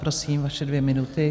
Prosím, vaše dvě minuty.